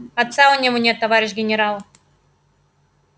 отца у него нет товарищ генерал